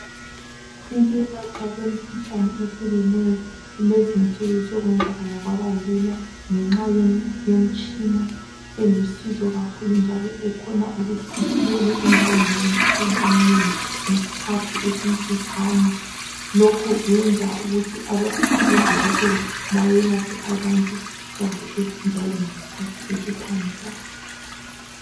Ukwelatshwa kwemikhuhlane ehlukeneyo kulezi insuku sokwenzakala kwabalula ngenxa yemitshina elusizo kakhulu njalo ekhona ukuthi ithole imbangela yemikhuhlane eminengi ngesikhathi esimfitshane. Lokho kwenza ukuthi abodokotela bayelaphe abantu kahle njalo ngesikhathi esiphangisayo.